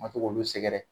Ma se k'olu sɛgɛrɛ